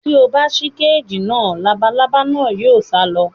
Tí o bá ṣí kééjì náà. Labalábá náà yóò sá lọ.